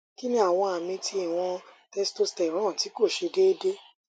kini awon ami ti iwon testosterone ti ko se deede